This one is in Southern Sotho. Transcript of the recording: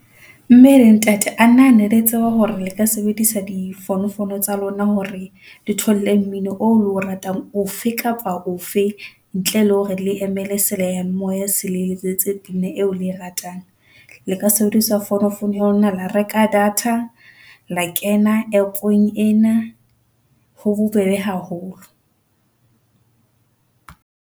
Mme le Ntate a na ne le tseba hore le ka sebedisa di founo founo tsa lona, hore le thole mmino o le o ratang ofe kapa ofe ntle le hore le emele sealemoya se le letsetse pina eo le e ratang. Le ka sebedisa founo founo ya lona la reka data la kena APP-ong ena. Ho bobebe haholo